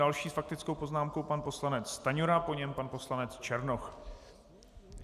Další s faktickou poznámkou pan poslanec Stanjura, po něm pan poslanec Černoch.